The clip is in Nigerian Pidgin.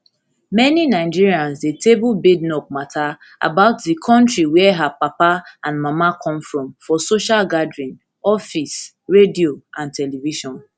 many nigerians dey table badenoch mata about di kontri wia her papa and mama come from for social gathering office radio and television